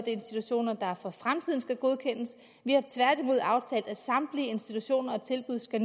institutioner der for fremtiden skal godkendes vi har tværtimod aftalt at samtlige institutioner og tilbud skal